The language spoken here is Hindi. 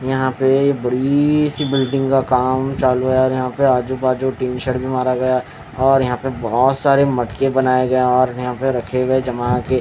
यहाँ पे बडीसी बिल्डिंगा काम चालू हैं और यहाँ आजू बाजू भी मारा गया हैं और यहाँ पे बहोत सारे मटके बनाए गए हैं और रखे गए है जमा के--